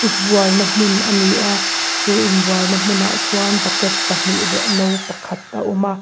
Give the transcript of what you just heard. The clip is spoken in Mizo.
inbualna hmun a ni a chu in bualna hmun ah chuan bucket pahnih leh no pakhat a awm a.